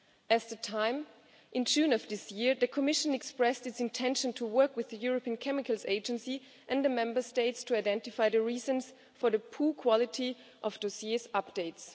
As to time, in June of this year, the Commission expressed its intention to work with the European Chemicals Agency and the Member States to identify the reasons for the poor quality of dossiers' updates.